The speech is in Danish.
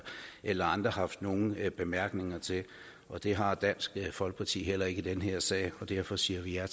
eller andre haft nogen bemærkninger til og det har dansk folkeparti heller ikke i den her sag derfor siger